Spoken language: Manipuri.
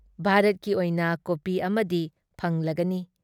ꯚꯥꯥꯔꯠꯀꯤ ꯑꯣꯏꯅ ꯀꯣꯄꯤ ꯑꯃꯗꯤ ꯐꯪꯂꯒꯅꯤ ꯫